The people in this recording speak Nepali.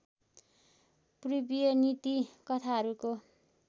पूर्वीय नीति कथाहरूको